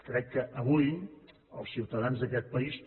crec que avui els ciutadans d’aquest país